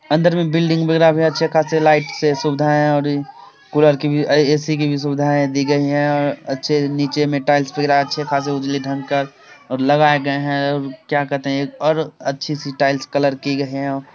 अंदर में बिल्डिंग वैगरह भी अच्छे खासे लाइट से सुविधाएं अउरी कूलर के भी ए.सी. की भी सुविधाएं दी गई है और अच्छे नीचे में टाइल्स वैगरह अच्छे खासे उजले ढंग का और लगाए गए और क्या कहते हैं और अच्छी सी टाइल्स कलर की गई हैं।